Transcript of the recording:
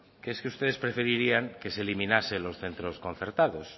que es que ustedes preferirían que se eliminasen los centros concertados